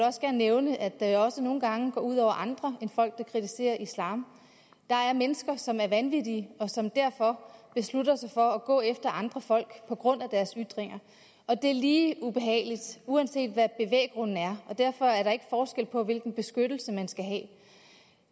nævne at det da også nogle gange går ud over andre end folk der kritiserer islam der er mennesker som er vanvittige og som derfor beslutter sig for at gå efter andre folk på grund af deres ytringer og det er lige ubehageligt uanset hvad bevæggrunden er og derfor er der ikke forskel på hvilken beskyttelse man skal have